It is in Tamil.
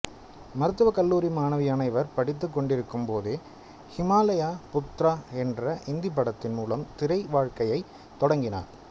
மருத்துவ கல்லூரி மாணவியான இவர் படித்துக் கொண்டிருக்கும்போதே ஹிமாலய புத்ரா என்ற இந்தி படத்தின் மூலம் திரை வாழ்க்கையை தொடங்கினார்